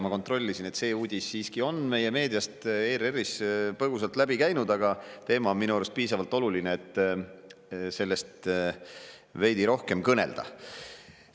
Ma kontrollisin, see uudis siiski on meie meediast, ERR-ist põgusalt läbi käinud, aga teema on minu arust piisavalt oluline, et sellest veidi rohkem kõnelda.